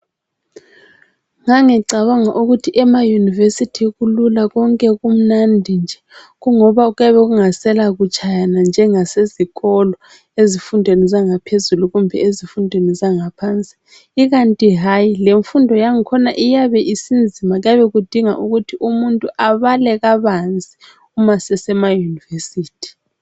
Ngangicabanga ukuthi emayunivesithi kulula konke kumnandi nje kungoba kuyabe kungasela kutshayana njengasezikolo ezifundweni zangaphezulu kumbe ezifundweni ezangaphansi, ikanti hayi lemfundo yakhona iyabe isinzima kuyabe kudinga ukuthi umuntu abale kabanzi uma sese ma yunivesithi.